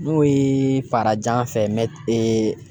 N'o ye farajan fɛ